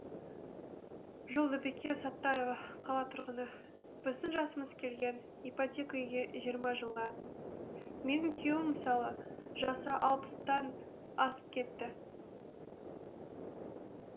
жолдыбике саттарова қала тұрғыны біздің жасымыз келген ипотека үйге жиырма жылға менің күйеуім мысалы жасы алпыстан асып кетті